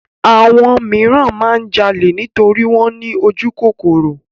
Àwọn míràn máa ń jalè nítorí wọ́n ní ojúkòkòrò.